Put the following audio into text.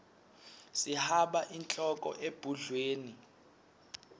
sihaba inhloko ebhudlweni